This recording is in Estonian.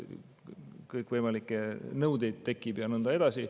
On kõikvõimalikke nõudeid ja nõnda edasi.